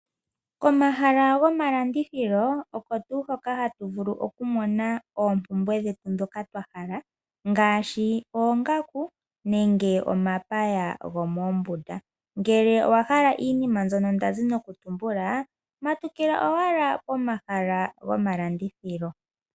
Komahala gomalandithilo oko tu hoka hatu vulu oku mona oompumbwe dhetu ndhoka twa hala ngaashi oongaku nenge omapaya gomombunda, ngele owahala iinima mbyono ndazi nokutumbula matukila owala pomahala gomalandithilo.